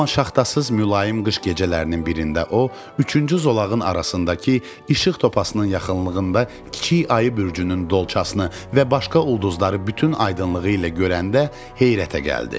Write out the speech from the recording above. Amma şaxtasız mülayim qış gecələrinin birində o, üçüncü zolağın arasındakı işıq topasının yaxınlığında kiçik ayı bürcünün dolçasını və başqa ulduzları bütün aydınlığı ilə görəndə heyrətə gəldi.